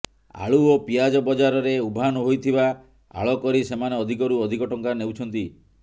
ଆଳୁ ଓ ପିଆଜ ବଜାରରେ ଉଭାନ୍ ହୋଇଥିବା ଆଳ କରି ସେମାନେ ଅଧିକରୁ ଅଧିକ ଟଙ୍କା ନେଉଛନ୍ତି